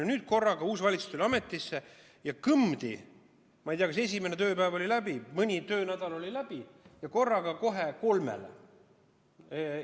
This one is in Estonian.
Ja nüüd korraga, kui uus valitsus tuli ametisse, kõmdi!, ma ei tea, kas esimene tööpäev või mõni töönädal oli läbi, korraga kohe kolmele.